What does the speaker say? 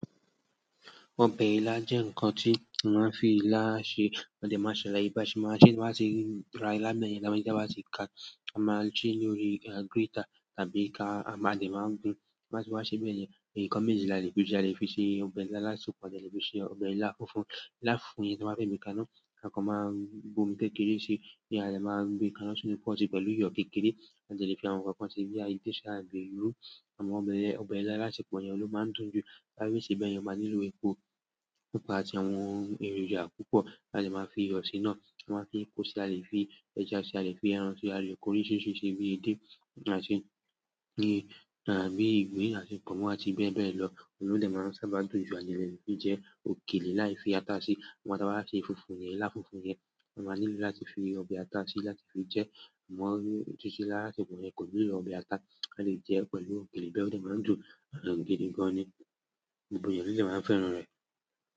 Ọbẹ̀ ilá jẹ́ ǹnkan tí a máa ń fi ilá ṣe, mo dẹ máa salaye ba se maa se, ta bati ra ila beyẹn, ta bati ka a máa ń ṣe lórí grater tàbí ká a máa dẹ máa gbun ta bati wa ṣe bẹ́ẹ̀ ẹn, nǹkan méjì làlẹ́ fi jẹ́, a lè fi ṣe ọbẹ̀ ilá alasepọ, a dẹ le fi se ọbẹ̀ ilá fúnfún. Ilá fúnfún yi tí n bá fe gbe ka iná, a kàn máa bómi kékeré sí i, tí a lè máa gbe ka iná sínú pọ́ọ̀tì pẹ̀lú iyọ̀ kékeré, a dẹ lè fi àwọn nǹkan kan sí i bíi edé sí àgbèrú. Àmọ́ ọbẹ̀ ilá alasepọ yẹn oun ló máa ń dùn jù. Tábẹ́ fẹ se bẹyẹn, o máa nílò epo pupa àti àwọn èròjà púpọ̀ ta dẹ máa fi iyọ sí naá. A máa ń fi epo sí i, a lè fi ẹja sí i, a lè fi ẹran sí i, a lè fi ko oríṣiríṣi si bi edé àti bí ìgbín àti pọmọn àti bẹ́ẹ̀ bẹ́ẹ̀ lọ. Òun ni o dẹ máa ń sábà dùn jù, a dẹ lè fi jẹ òkèlè lái fi ata sí i. Ìgbà tí a bá ṣe fúnfún yẹn, ilá fúnfún yẹn, a máa nílò láti fi ọbẹ̀ ata sí i, láti fi jẹ, àmọ́ títí ila alasepọ yẹn kò nílò ọbẹ̀ ata, a lè jẹ pẹ̀lú òkèlè bẹ́ẹ̀ ò dẹ máa ń dùn gidi gan-an ni. Gbogbo èèyàn lo dẹ máa ń fẹ́ràn rẹ̀.